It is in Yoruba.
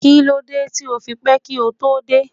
Kílódé tí o fi pẹ́ kí o tó dé?